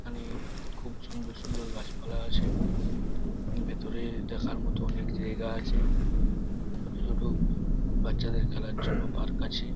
এখানে খুব সুন্দর সুন্দর গাছ পালা আছে | ভিতরে দেখার মতো অনেক জায়গা আছে । ছোট ছোট বাচ্চাদের খেলার জন্য পার্ক আছে।